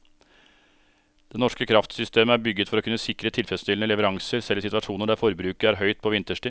Det norske kraftsystemet er bygget for å kunne sikre tilfredsstillende leveranser selv i situasjoner der forbruket er høyt på vinterstid.